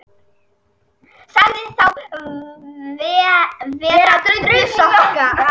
Sagði þá vera drullusokka